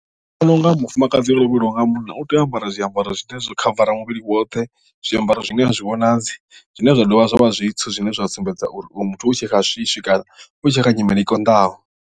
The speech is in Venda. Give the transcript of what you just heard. Ndi vhona unga mufumakadzi o lovheliwa nga munna u tea u ambara zwiambaro zwine zwo khavara muvhili woṱhe zwiambaro zwine a zwi vhonadzi zwine zwa dovha zwa vha zwithu zwine zwa sumbedza uri uyu muthu u tshe kha swiswi kana u tshe kha nyimele i konḓaho.